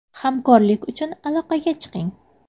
Hamkorlik uchun aloqaga chiqing.